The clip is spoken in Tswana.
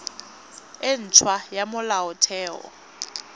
e nt hwa ya molaotheo